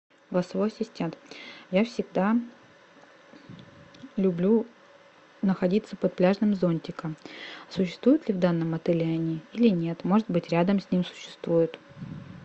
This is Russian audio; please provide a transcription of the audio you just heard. голосовой ассистент я всегда люблю находиться под пляжным зонтиком существуют ли в данном отеле они или нет может быть рядом с ним существуют